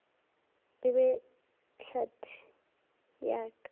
e be tlhahli ya ka